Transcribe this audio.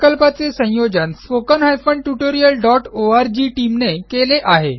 सदर प्रकल्पाचे संयोजन spoken tutorialओआरजी टीम ने केले आहे